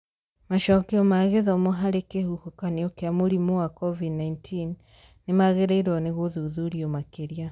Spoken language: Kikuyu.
Macokio ma gĩthomo harĩ kĩhuhũkanio kĩa mũrimũ wa Covid-19 nĩ magĩrĩirwo nĩ gũthuthurio makĩria.